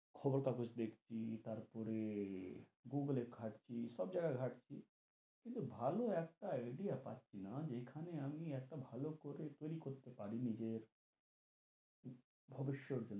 খবর কাগজ দেখছি, তারপরে গুগল এ ঘাঁটছি, সব জায়গায় ঘাঁটছি, কিন্তু ভালো একটা idea পাচ্ছি না যে খানে আমি একটা ভালো করে যদি করতে পারি নিজের ভবিষ্যত,